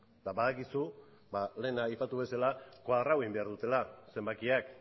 eta badakizu lehen aipatu bezala koadratu egin behar dutela zenbakiak